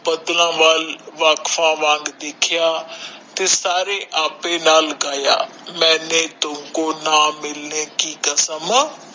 ਬਦਲਾ ਦੇਖਿਆ ਤੇ ਸਾਰੇ ਆਪੇ ਨਾਲ ਗਾਇਆ ਮੇਨੇ ਤੁਮਕੋ ਨਾ ਮਿਲਨੇ ਕਿ ਕਸਮ